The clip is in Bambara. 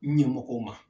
Ɲɛmɔgɔw ma